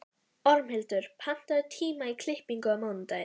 Ormhildur, pantaðu tíma í klippingu á mánudaginn.